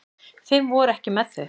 Fimm voru ekki með þau.